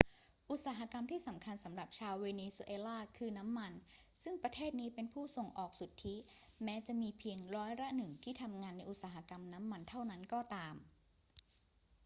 อุตสาหกรรมที่สำคัญสำหรับชาวเวเนซุเอลาคือน้ำมันซึ่งประเทศนี้เป็นผู้ส่งออกสุทธิ แม้จะมีเพียงร้อยละหนึ่งที่ทำงานในอุตสาหกรรมน้ำมันเท่านั้นก็ตาม